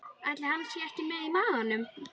Ætli hann sé ekki með í maganum?